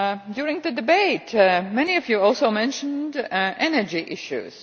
During the debate, many of you also mentioned energy issues.